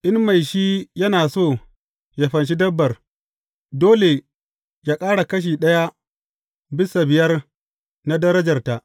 In mai shi yana so yă fanshi dabbar, dole yă ƙara kashi ɗaya bisa biyar na darajarta.